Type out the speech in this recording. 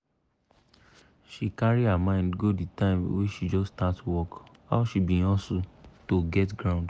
lappy wey dey carry come from abroad come dey cheap pass de pass de ones wey we get here.